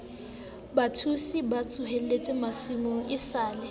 batshosi ba tsohellang masimong esale